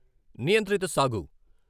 నియంత్రిత సాగు